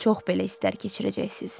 Çox belə istər keçirəcəksiniz.